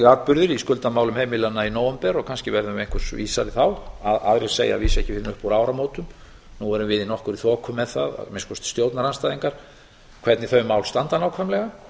atburðir í skuldamálum heimilanna í nóvember kannski verðum við einhvers vísari þá aðrir segja að vísu ekki fyrr en upp úr áramótum nú erum við í nokkurri þoku með það að minnsta kosti stjórnarandstæðingar hvernig þau mál standa nákvæmlega